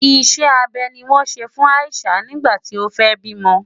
Ìṣe abẹ ni wọ́n ṣe fún Ayishah nígbà tí ó fẹ́ bímọ.